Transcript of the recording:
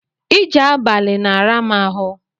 Ije abali na-ara mu ahu